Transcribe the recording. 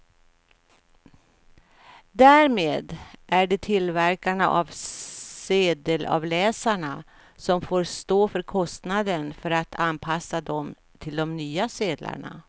Därmed är det tillverkarna av sedelavläsarna som får stå för kostnaden för att anpassa dem till de nya sedlarna.